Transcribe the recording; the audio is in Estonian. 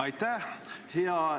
Aitäh!